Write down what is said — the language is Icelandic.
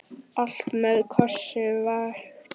Allt með kossi vakti.